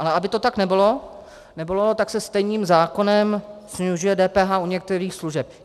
Ale aby to tak nebylo, tak se stejným zákonem snižuje DPH u některých služeb.